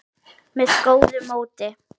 með góðu móti.